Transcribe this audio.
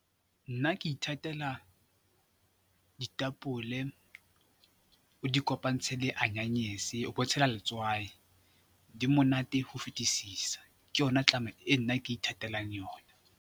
Nna ke ithatela ditapole, o di kopantshe le anyanyese o bo tshela letswai. Di monate ho fetisisa, ke yona e nna ke ithatelang yona.